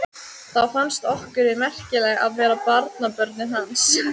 Þá fannst okkur við merkileg að vera barnabörnin hans.